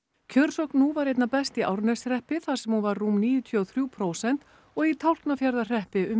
kjörsókn nú var einna best í Árneshreppi þar sem hún var rúm níutíu og þrjú prósent og í Tálknafjarðarhreppi um